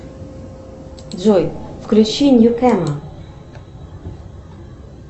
джой включи нью кэма